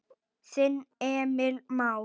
Þinn Emil Már.